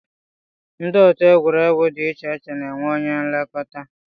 Ndị otu egwuregwu dị iche iche na-enwe onye nlekọta